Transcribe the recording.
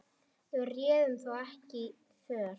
Við réðum þó ekki för.